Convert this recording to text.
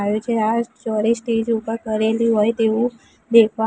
આવે છે આ સ્ટોરેજ સ્ટેજ ઉપર કરેલુ હોઈ તેવુ દેખા--